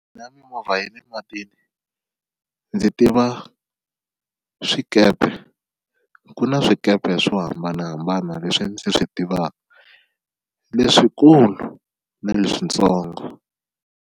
Na mimovha ya le matini ndzi tiva swikepe, ku na swikepe swo hambanahambana leswi ndzi swi tivaka leswikulu na leswitsongo.